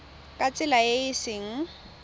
ka tsela e e seng